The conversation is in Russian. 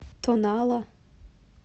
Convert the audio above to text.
тонала